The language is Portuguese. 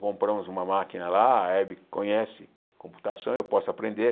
Compramos uma máquina lá, a Hebe conhece computação, eu posso aprender.